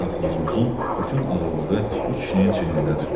Safxozumuzun bütün ağırlığı bu kişinin çiynindədir.